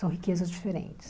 São riquezas diferentes.